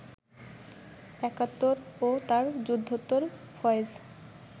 একাত্তর ও তার যুদ্ধোত্তর ফয়েজ